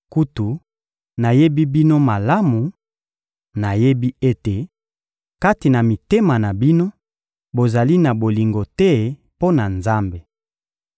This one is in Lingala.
Kutu nayebi bino malamu, nayebi ete, kati na mitema na bino, bozali na bolingo te mpo na Nzambe.